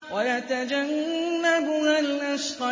وَيَتَجَنَّبُهَا الْأَشْقَى